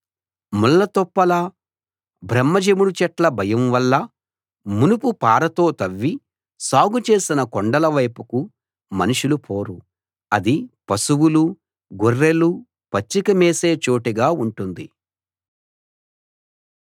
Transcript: ముళ్ళతుప్పల బ్రహ్మ జెముడు చెట్ల భయం వల్ల మునుపు పారతో తవ్వి సాగు చేసిన కొండల వైపుకు మనుషులు పోరు అది పశువులు గొర్రెలు పచ్చిక మేసే చోటుగా ఉంటుంది